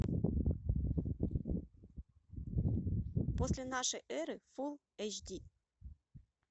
после нашей эры фул эйч ди